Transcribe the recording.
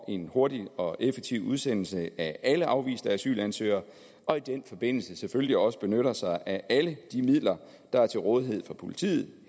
en hurtig og effektiv udsendelse af alle afviste asylansøgere og i den forbindelse selvfølgelig også benytter sig af alle de midler der er til rådighed for politiet